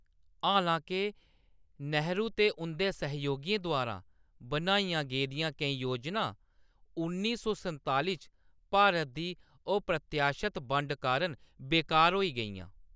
हालांके, नेहरू ते उंʼदे सहयोगियें द्वारा बनाइयां गेदियां केईं योजनां उन्नी सौ संताली च भारत दी अप्रत्याशत बंड कारण बेकार होई गेइयां।